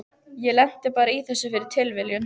Ég lenti bara í þessu fyrir tilviljun.